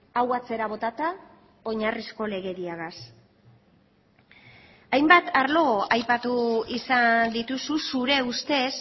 hau atzera botata oinarrizko legediagaz hainbat arlo aipatu izan dituzu zure ustez